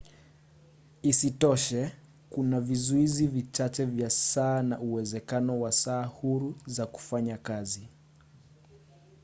isitoshe kuna vizuizi vichache vya saa na uwezekano wa saa huru za kufanya kazi. bremer 1998